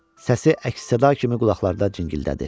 Səsi əks-səda kimi qulaqlarda cingildədi.